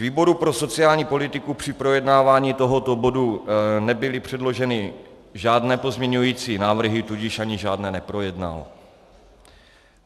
Výboru pro sociální politiku při projednávání tohoto bodu nebyly předloženy žádné pozměňující návrhy, tudíž ani žádné neprojednal.